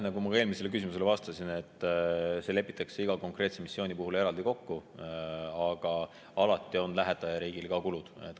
Nagu ma ka eelmisele küsimusele vastasin, see lepitakse iga konkreetse missiooni puhul eraldi kokku, aga alati on ka lähetajariigil kulud.